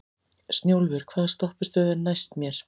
Snjólfur, hvaða stoppistöð er næst mér?